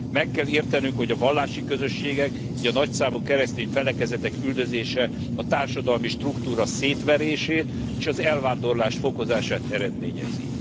Meg kell értenünk, hogy a vallási közösségek, így a nagyszámú keresztény felekezetek üldözése a társadalmi struktúra szétverését és az elvándorlás fokozását eredményezi.